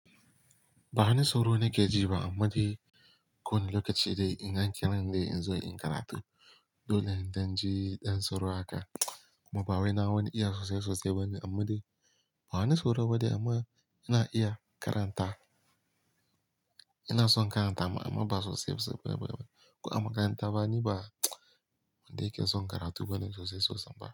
Ba wani tsoro nake ji ba, amma dai ko wani lokaci dai ina kiran dai in zo in karatu. Dole in dan ji ɗan sauro haka. Kuma bawai na wani iya sosai sosai bane, amma dai ba wani tsoro ba dai amma ina iya karanta. Ina son karanta ma amma ba sosai sosai ba. Ko a makaranta ma niba wanda yake son karatu bane sosai sosai ba.